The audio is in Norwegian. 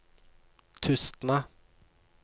Tustna